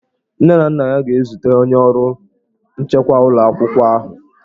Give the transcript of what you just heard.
Nne na nna ya ga-ezute onye ọrụ nchekwa ụlọ akwụkwọ ahụ.